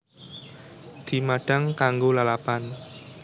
Dimadhang kanggo lalapan